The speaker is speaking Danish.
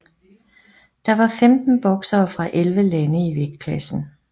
Der var 15 boksere fra 11 lande i vægtklassen